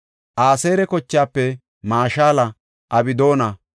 Aseera kochaafe Mashala, Abdoona,